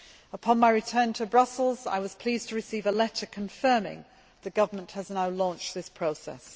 Upon my return to Brussels, I was pleased to receive a letter confirming that the government has now launched this process.